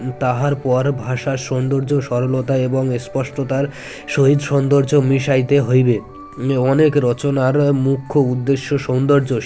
তাহার পর ভাষার সৌন্দর্য সরলতা এবং স্পষ্টতার সহিত সৌন্দর্য মিশাইতে হইবে অনেক রচনার মুখ্য উদ্দেশ্য সৌন্দর্য